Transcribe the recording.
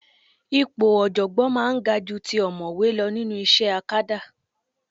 Ipò ọ̀jọ̀gbọ́n máa ń ga ju ti ọ̀mọ̀wé lọ nínú iṣẹ́ akadá